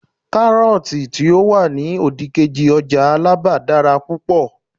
karọọti ti o wani odikeji ọjà alaba dara púpò